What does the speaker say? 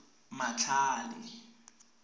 matlhale